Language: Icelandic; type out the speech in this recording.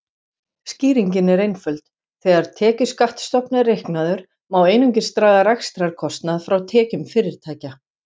Skýringin er einföld: Þegar tekjuskattsstofn er reiknaður má einungis draga rekstrarkostnað frá tekjum fyrirtækja.